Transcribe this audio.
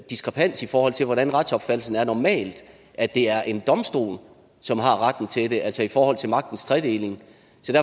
diskrepans i forhold til hvordan retsopfattelsen normalt er at det er en domstol som har retten til det altså i forhold til magtens tredeling